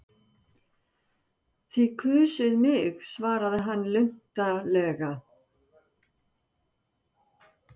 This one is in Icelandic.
Þið kusuð mig svaraði hann luntalega.